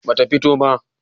ba ta fito ba